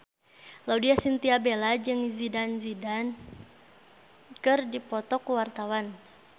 Laudya Chintya Bella jeung Zidane Zidane keur dipoto ku wartawan